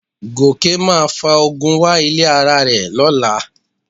Gòkè máa fa ogun wá ilé ara rẹ̀ lọ́la